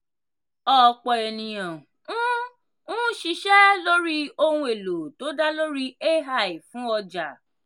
ọ̀pọ̀ ènìyàn ń ń ṣiṣẹ́ lórí ohun èlò tó dá lórí ai fún ọjà.